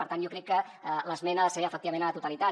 per tant jo crec que l’esmena ha de ser efectivament a la totalitat